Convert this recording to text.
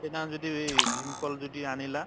সেইদিনাখন যদি ই ভীম কল যদি আনিলা